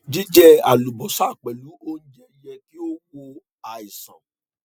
jíjẹ àlùbọsà pẹlú oúnjẹ yẹ kí ó wò ó sàn